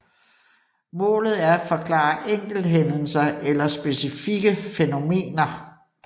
Målet er at forklare enkelthændelser eller specifikke fænomener